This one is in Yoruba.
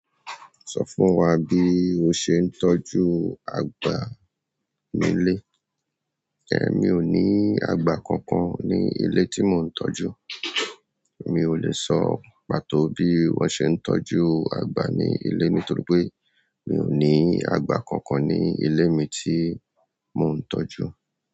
Sọ fún wa bí o ṣe ń tọ́jú agbà nílé. Ẹ̀, mi ò ní àgba kankan ní ilé tí mò ń tọ́jú. Mi ò le sọ pàtó bí wọ́n ṣe ń tọ́jú àgbà ní ilé mi nítorí pé mi ò ní àgbà kankan ní ilé mi tí mò ń tọ́jú.